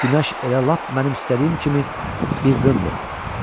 Günəş elə lap mənim istədiyim kimi bir qındır.